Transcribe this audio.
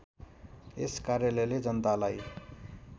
यस कार्यालयले जनतालाई